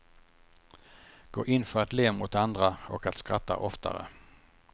Gå in för att le mot andra och att skratta oftare.